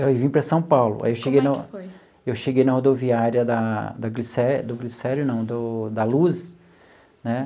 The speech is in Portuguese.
Eu vim para São Paulo, aí eu cheguei no. Como é que foi? Eu cheguei na rodoviária da do Glicério do Glicério não, do da Luz né.